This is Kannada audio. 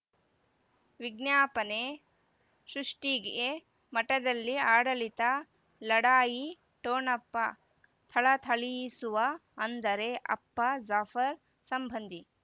ವಿಜ್ಞಾಪನೆ ಸೃಷ್ಟಿಗೆ ಮಠದಲ್ಲಿ ಆಡಳಿತ ಲಢಾಯಿ ಠೊಣಪ ಥಳಥಳಿಸುವ ಅಂದರೆ ಅಪ್ಪ ಜಾಫರ್ ಸಂಬಂಧಿ